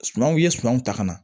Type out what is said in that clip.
Sumanw i ye sumanw ta ka na